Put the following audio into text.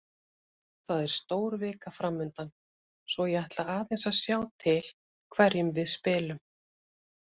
Það er stór vika framundan svo ég ætla aðeins að sjá til hverjum við spilum.